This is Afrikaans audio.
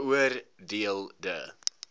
beoor deel de